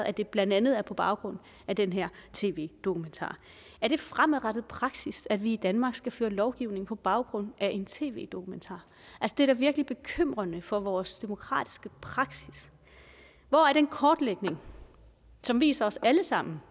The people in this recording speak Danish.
at det blandt andet er på baggrund af den her tv dokumentar er det fremadrettet praksis at vi i danmark skal lovgive på baggrund af en tv dokumentar det er da virkelig bekymrende for vores demokratiske praksis hvor er den kortlægning som viser os alle sammen